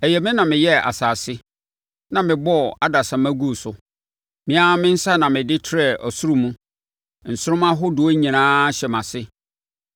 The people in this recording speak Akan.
Ɛyɛ me na meyɛɛ asase na mebɔɔ adasamma guu so. Me ara me nsa na mede trɛɛ ɔsoro mu; nsoromma ahodoɔ nyinaa hyɛ mʼase.